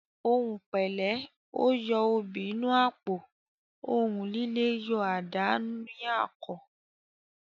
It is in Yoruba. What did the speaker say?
Òhun pẹlẹ, o yo obi n’ apo; ohùn lílé yọ adà ní àkò